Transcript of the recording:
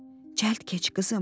Cəld keç qızım.